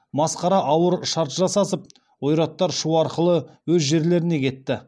масқара ауыр шарт жасасып ойраттар шу арқылы өз жерлеріне кетті